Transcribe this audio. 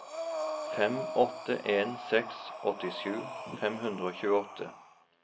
fem åtte en seks åttisju fem hundre og tjueåtte